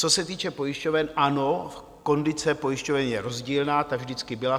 Co se týče pojišťoven, ano, kondice pojišťoven je rozdílná, to vždycky byla.